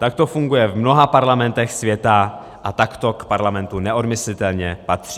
Tak to funguje v mnoha parlamentech světa a tak to k parlamentu neodmyslitelně patří.